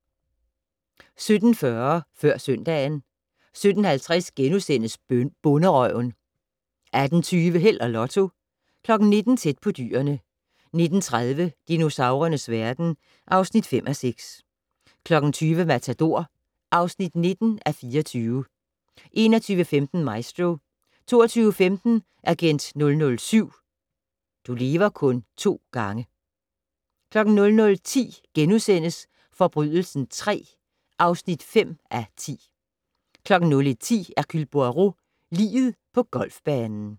17:40: Før søndagen 17:50: Bonderøven (7:8)* 18:20: Held og Lotto 19:00: Tæt på dyrene 19:30: Dinosaurernes verden (5:6) 20:00: Matador (9:24) 21:15: Maestro 22:15: Agent 007 - du lever kun to gange 00:10: Forbrydelsen III (5:10)* 01:10: Hercule Poirot: Liget på golfbanen